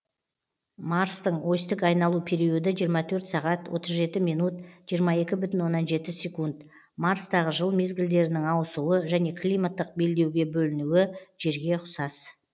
марстың осьтік айналу периоды жиырма төрт сағат отыз жеті минут жиырма екі бүтін оннан жеті секунд марстағы жыл мезгілдерінің ауысуы және климаттық белдеуге бөлінуі жерге ұқсас